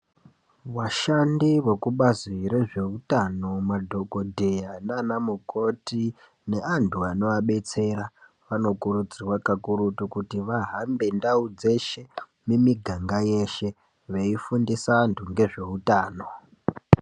Vashandi vekubazi rezveutano, madhokodheya naana mukoti neantu anoabetsera. Anokurudzirwa kakurutu kuti vahambe ndau dzeshe mumiganga yeshe veifundisa antu ngezveutano.